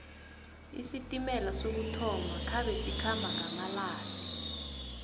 isitimela sokuthoma khabe sikhamba ngamalehle